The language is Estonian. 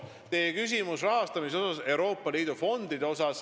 Teil oli ka küsimus rahastamise kohta Euroopa Liidu fondidest.